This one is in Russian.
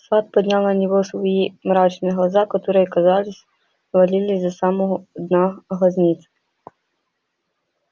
сатт поднял на него свои мрачные глаза которые казалось ввалились до самого дна глазниц